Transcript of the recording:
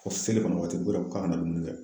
Ko selifana waati k'ora k'a bi na dumunikɛra